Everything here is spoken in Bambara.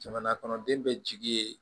Jamana kɔnɔden bɛ jigi ye